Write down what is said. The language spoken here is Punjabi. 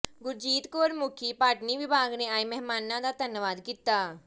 ਗੁਰਜੀਤ ਕੌਰ ਮੁੱਖੀ ਬਾਟਨੀ ਵਿਭਾਗ ਨੇ ਆਏ ਮਹਿਮਾਨਾ ਦਾ ਧੰਨਵਾਦ ਕੀਤਾ